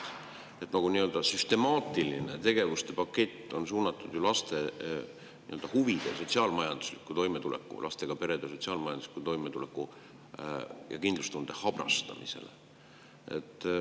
Selline süstemaatiline tegevuste pakett on ju suunatud laste huvide ning lastega perede sotsiaalmajandusliku toimetuleku ja kindlustunde habrastamisele.